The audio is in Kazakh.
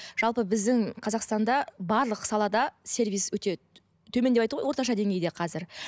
жалпы біздің қазақстанда барлық салада сервис өте төмен деп орташа деңгейде қазір